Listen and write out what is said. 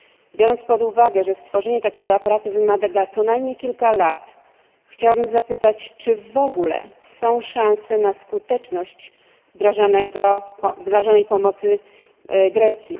Biorąc pod uwagę, że stworzenie takiego aparatu wymaga co najmniej kilku lat, chciałabym zapytać, czy w ogóle są szanse na skuteczność wdrażanej pomocy dla Grecji?